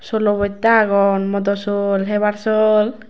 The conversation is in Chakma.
solo bojta agon modo sol hebar sol.